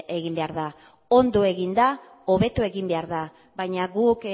egin behar da ondo egin da hobeto egin behar da baina guk